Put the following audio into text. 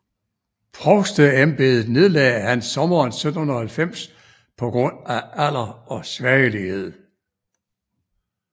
Provsteembedet nedlagde han sommeren 1790 på grund af alder og svagelighed